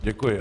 Děkuji.